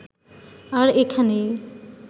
আর এখানেই